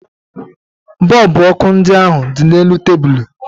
Bọọlbụ ọkụ ndị ahụ dị n'elu tebulu